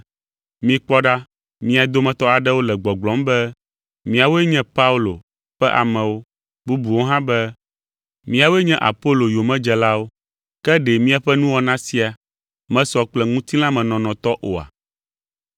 Mikpɔ ɖa, mia dometɔ aɖewo le gbɔgblɔm be, “Míawoe nye Paulo ƒe amewo,” bubuwo hã be, “Míawoe nye Apolo yomedzelawo,” ke ɖe miaƒe nuwɔna sia mesɔ kple ŋutilãmenɔnɔ tɔ oa?